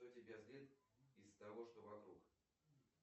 что тебя злит из того что вокруг